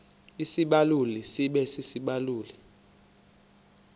isibaluli sibe sisibaluli